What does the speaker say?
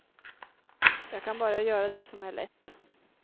Jag kan bara göra det som är lätt.